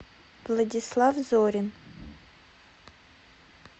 владислав зорин